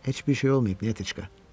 Heç bir şey olmayıb, Nətiçka.